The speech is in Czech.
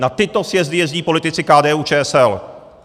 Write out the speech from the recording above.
Na tyto sjezdy jezdí politici KDU-ČSL.